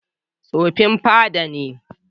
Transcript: Tsofin fada ne.